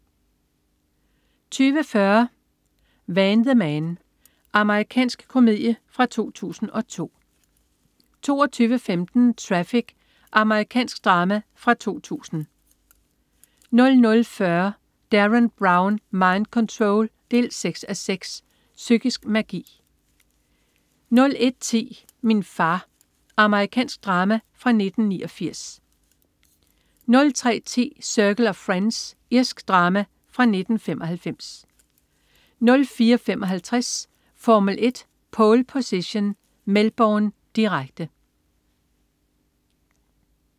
20.40 Van the Man. Amerikansk komedie fra 2002 22.15 Traffic. Amerikansk drama fra 2000 00.40 Derren Brown. Mind Control 6:6. Psykisk magi 01.10 Min far. Amerikansk drama fra 1989 03.10 Circle of Friends. Irsk drama fra1995 04.55 Formel 1: Pole Position. Melbourne, direkte